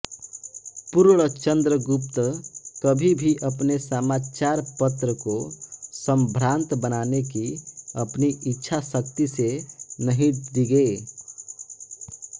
पूर्णचन्द्र गुप्त कभी भी अपने समाचारपत्र को संभ्रान्त बनाने की अपनी इच्छाशक्ति से नहीं डिगे